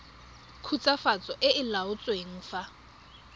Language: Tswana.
khutswafatso e e laotsweng fa